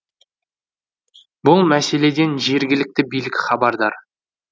бұл мәселеден жергілікті билік хабардар